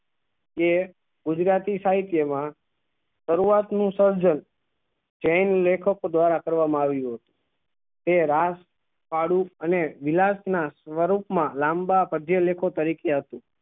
જે ગુજરાતી સહિત્ય માં શરૂવાત નું સર્જન જેન લેખકો દ્વારા કરવા માં આયુ હતું તે રાસ ભાડું અને વિલાસ ના વરૂપ મા લાંબા પાગ્યે લેખો તરીકે હતા